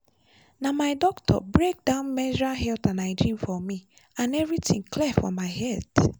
na my doctor break down menstrual health and hygiene for me and everything clear for my head.